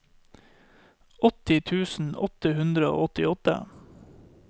åtti tusen åtte hundre og åtti